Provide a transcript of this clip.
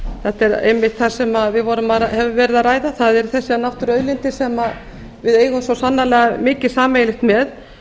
þetta er einmitt það sem við höfum verið að ræða það eru þessar náttúruauðlindir sem við eigum svo sannarlega mikið sameiginlegt með